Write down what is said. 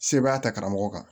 Sebaa ta karamɔgɔ kan